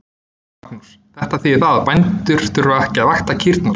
Magnús: Þetta þýðir það að bændur þurfa ekki að vakta kýrnar?